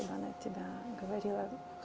я на тебя говорила